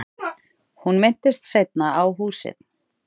Hún minntist seinna á húsið.